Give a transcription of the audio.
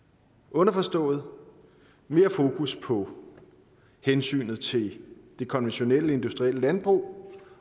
underforstået mere fokus på hensynet til det konventionelle industrielle landbrug